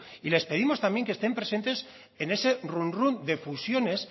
y les pedimos también que estén presentes en ese runrún de fusiones